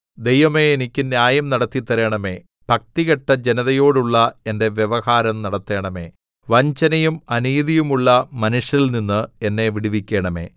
ദൈവമേ എനിക്ക് ന്യായം നടത്തി തരണമേ ഭക്തികെട്ട ജനതയോടുള്ള എന്റെ വ്യവഹാരം നടത്തണമേ വഞ്ചനയും അനീതിയുമുള്ള മനുഷ്യരിൽനിന്ന് എന്നെ വിടുവിക്കണമേ